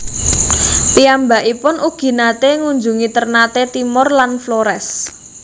Piyambakipun ugi naté ngunjungi Ternate Timor lan Flores